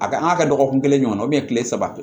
A ka an ka kɛ dɔgɔkun kelen ɲɔgɔnna kile saba tɛ